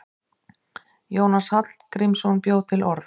Jónas Hallgrímsson bjó til orð.